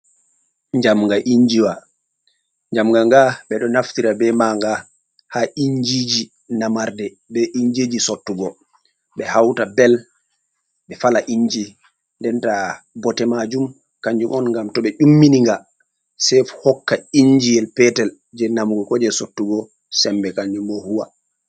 Jamgnga injiwa, ɓe ɗo naftira bee maaga haa injiiji namarde bee injiiji sottugo, ɓe hawta bel, ɓe fala inji denta bote maajum kanjum on ngam to ɓe ummini nga sey hokka injiyel petel jey namugo ko jey sottugo semmbe, kanjum boo huuwa.